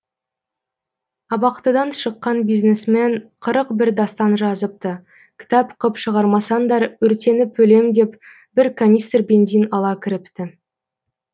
абақтыдан шыққан бизнесмен қырық бір дастан жазыпты кітап қып шығармасаңдар өртеніп өлем деп бір канистр бензин ала кіріпті